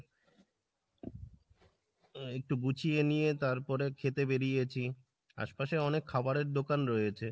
আহ একটু গুছিয়ে নিয়ে তারপরে খেতে বেড়িয়েছি আশপাশে অনেক খাবারের দোকান রয়েছে।